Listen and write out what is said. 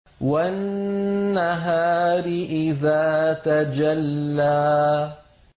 وَالنَّهَارِ إِذَا تَجَلَّىٰ